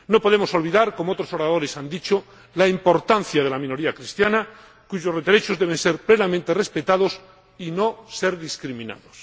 No podemos olvidar, como otros oradores han dicho, la importancia de la minoría cristiana, cuyos derechos deben ser plenamente respetados y no ser discriminados.